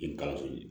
I kalanso